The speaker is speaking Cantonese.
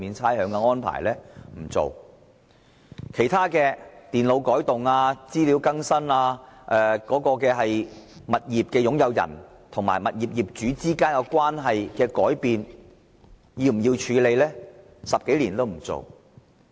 其他問題諸如電腦改動、資料更新及物業擁有人與業主之間關係的改變等，政府10多年來也不處理。